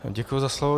Děkuji za slovo.